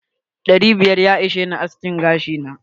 Dari biyar ya ishe ni aske gashi na.